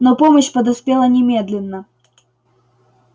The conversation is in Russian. но помощь подоспела немедленно